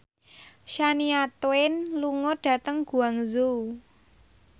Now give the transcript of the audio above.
Shania Twain lunga dhateng Guangzhou